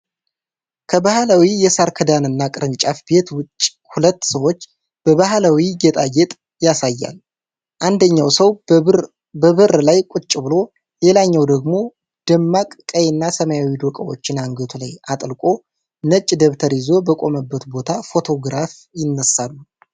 ከባህላዊ የሳር ክዳንና ቅርንጫፍ ቤት ውጭ ሁለት ሰዎች በባህላዊ ጌጣጌጥ ያሳያል። አንደኛው ሰው በበር ላይ ቁጭ ብሎ፣ ሌላኛው ደግሞ ደማቅ ቀይና ሰማያዊ ዶቃዎች አንገቱ ላይ አጥልቆ፣ ነጭ ደብተር ይዞ በቆመበት ቦታ ፎቶግራፍ ይነሳሉ።